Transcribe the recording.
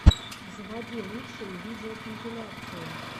заводи лучшие видеокомпиляции